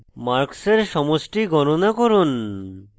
marks সমষ্টি গণনা করুন